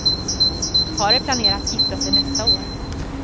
Paret planerade att gifta sig nästa år.